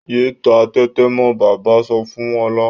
Yéé ta tẹ́tẹ́ mọ́! Bàbá sọ fún Ọlá.